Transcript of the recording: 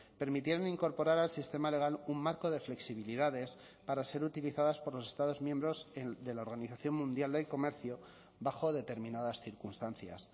permitieron incorporar al sistema legal un marco de flexibilidades para ser utilizadas por los estados miembros de la organización mundial del comercio bajo determinadas circunstancias